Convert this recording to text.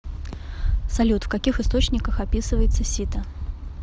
салют в каких источниках описывается сита